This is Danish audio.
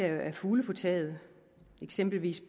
er fugle på taget eksempelvis